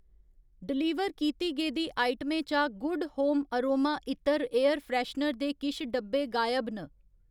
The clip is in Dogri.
डलीवर कीती गेदी आइटमें चा गुड होम अरोमा इत्तर एयर फ्रैश्नर दे किश डब्बे गायब न।